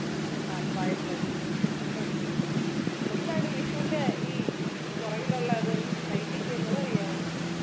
പാൽപ്പായസം ശരിയാ എന്താണ് വിഷുൻ്റെ ഈ പുറകിലുള്ളത് ഐതിഹ്യം അതറിയാമോ